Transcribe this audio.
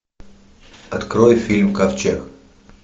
открой фильм ковчег